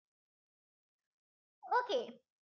okay